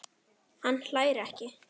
Hann hlær ekki.